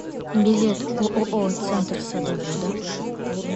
билет ооо центр садовода